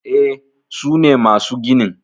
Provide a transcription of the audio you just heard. E, sune masu ginin